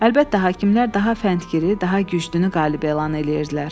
Əlbəttə, hakimlər daha fəntgiri, daha güclünü qalib elan edirdilər.